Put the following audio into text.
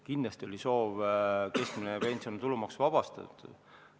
Kindlasti oli soov keskmine pension tulumaksust vabastada.